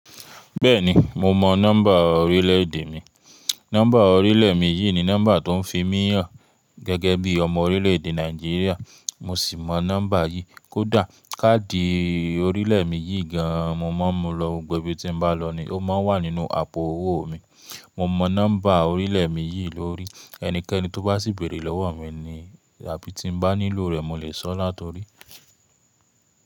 Bẹ́ẹ̀ni mo mọ nọ́mbà orílẹ̀ èdè mi. Nọ́mbà orílẹ̀ mi yìí ni nọ́mbà tó ń fi mi hàn gẹ́gẹ́ bí ọmọ orílẹ̀èdè Nàìjíríà. Mo sì mọ nọ́mbà yìí. Kódà káàdì orílẹ̀ mi yìí gan an mo mọ̀, mo lọ gbogbo ibi tí n bá lọ ní, ó máa ń wà nínú àpò owó mi. Mo mọ nọ́mbà orílẹ̀ mi yìí lórí. Ẹnikẹ́ni tó bá sì bèrè lọ́wọ́ mi ni àbí tí n bá nílò rẹ̀ mo lè sọ látorí.